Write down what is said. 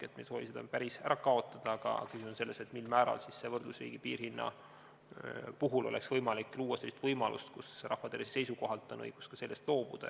Me ei soovi seda päris ära kaotada, aga küsimus on selles, mil määral saaks võrdlusriigi piirhinna puhul luua sellise võimaluse, kus rahvatervise seisukohalt on õigus ka sellest loobuda.